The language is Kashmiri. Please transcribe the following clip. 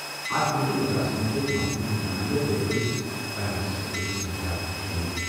اَتھ میٹنگہِ منٛز آسہٕ مُختٔلِف محکمَن ہِنٛدِ نُمٲیِنٛدٕ تہٕ بٔڈِس پیمانس پٮ۪ٹھ پُلیٖس اہلکار تہِ شٲمِل۔